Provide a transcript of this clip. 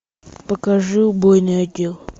покажи убойный отдел